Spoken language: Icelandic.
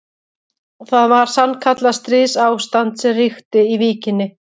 Það var sannkallað stríðsástand sem ríkti í Víkinni.